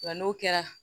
Wa n'o kɛra